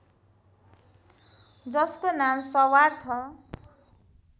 जसको नाम सर्वार्थ